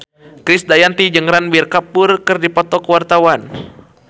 Krisdayanti jeung Ranbir Kapoor keur dipoto ku wartawan